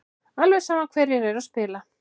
Alveg sama hverjir eru að spila.